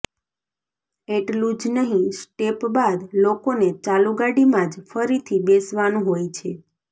એટલું જ નહી સ્ટેપ બાદ લોકોને ચાલુ ગાડીમાં જ ફરીથી બેસવાનું હોય છે